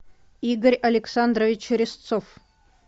игорь александрович резцов